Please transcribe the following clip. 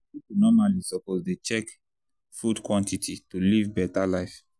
people normally suppose dey check food quantity to live better life.